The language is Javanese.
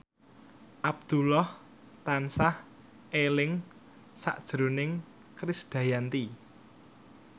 Abdullah tansah eling sakjroning Krisdayanti